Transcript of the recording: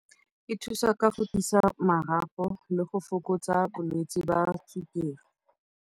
E thusa ka go tiisa marapo le go fokotsa bolwetsi jwa sukiri.